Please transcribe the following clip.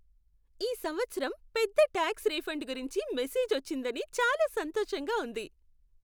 ఈ సంవత్సరం పెద్ద టాక్స్ రిఫండ్ గురించి మెసేజ్ వచ్చిందని చాలా సంతోషంగా ఉంది.